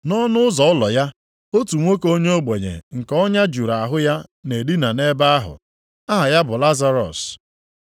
Nʼọnụ ụzọ ụlọ ya, otu nwoke onye ogbenye nke ọnya juru ahụ ya na-edina nʼebe ahụ. Aha ya bụ Lazarọs.